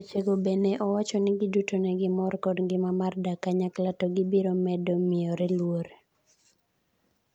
Weche go be ne owacho ni giduto negimor kod ngima mar dak kanyakla to gibiro medo miyore luor.